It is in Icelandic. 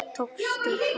Tókstu hann?